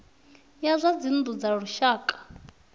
ya zwa dzinnu dza lushaka